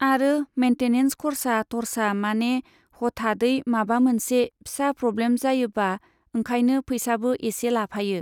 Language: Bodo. आरो मेइन्टेनेन्स खरसा टरसा माने हथादयै माबा मोनसे फिसा प्रब्लेम जायोबा ओंखायनो फैसाबो इसे लाफायो।